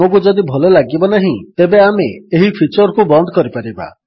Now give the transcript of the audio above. ଆମକୁ ଯଦି ଭଲ ଲାଗିବ ନାହିଁ ତେବେ ଆମେ ଏହି ଫିଚର୍ କୁ ବନ୍ଦ କରିପାରିବା